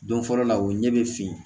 Don fɔlɔ la o ɲɛ bɛ fin